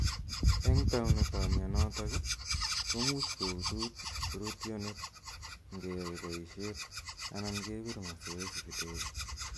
Eng' taunetap mianotok i, komuchi koutut rootyonet ngeyai poishet anan kepir masoesi kidogo .